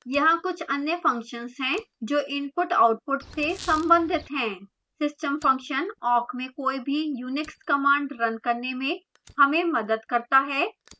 यहाँ कुछ अन्य functions हैं जो input/output से संबंधित हैं